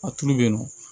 A tulu bɛ yen nɔ